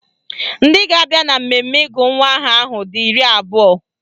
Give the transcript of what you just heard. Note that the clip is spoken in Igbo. Ndị ga-abịa na mmemme ịgụ nwa aha ahụ dị iri abụọ